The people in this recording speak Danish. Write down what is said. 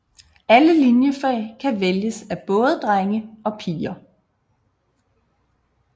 Alle liniefag kan vælges af både drenge og piger